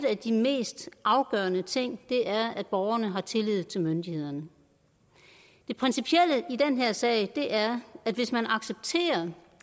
af de mest afgørende ting er at borgerne har tillid til myndighederne det principielle i den her sag er at hvis man accepterer